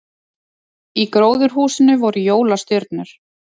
Í gróðurhúsinu voru jólastjörnur